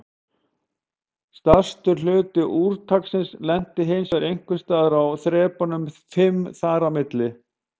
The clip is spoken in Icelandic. Stærstur hluti úrtaksins lenti hinsvegar einhvers staðar á þrepunum fimm þar á milli.